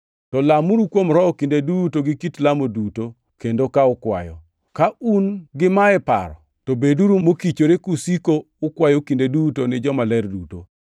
To lamuru kuom Roho kinde duto gi kit lamo duto, kendo ka ukwayo. Ka un gima e paro, to beduru mokichore kusiko ukwayo kinde duto ni jomaler duto.